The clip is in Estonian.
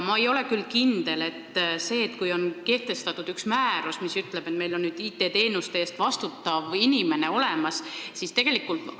Ma ei ole küll kindel selles, et kui on kehtestatud üks määrus, mis ütleb, et meil on nüüd IT-teenuste eest vastutav inimene olemas, siis see lahendab olukorra.